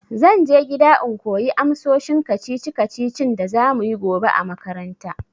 Zan je gida in koyi amsoshin kacici kacicin da za muyi gobe a makaranta.